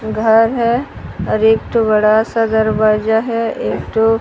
घर है और एक ठो बड़ा सा दरवाजा है एक ठो--